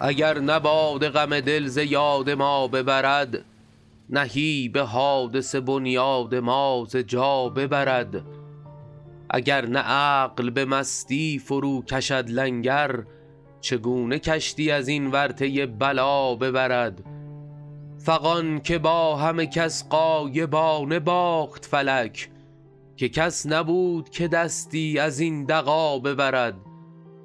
اگر نه باده غم دل ز یاد ما ببرد نهیب حادثه بنیاد ما ز جا ببرد اگر نه عقل به مستی فروکشد لنگر چگونه کشتی از این ورطه بلا ببرد فغان که با همه کس غایبانه باخت فلک که کس نبود که دستی از این دغا ببرد